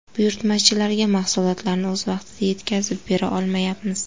Buyurtmachilarga mahsulotlarni o‘z vaqtida yetkazib bera olmayapmiz.